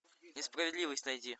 несправедливость найди